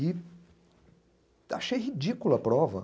E achei ridícula a prova.